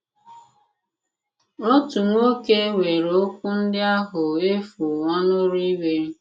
Otu nwòkè wèèrè òkwù ndị àhụ efù ọ̀ nụrụ ìwè.